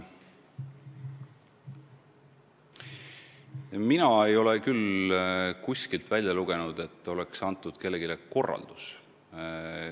Mina ei ole küll kuskilt lugenud, et oleks kellelegi antud selline korraldus.